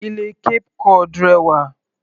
Ilé Cape cod rẹwà.